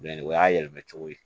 o y'a yɛlɛmacogo ye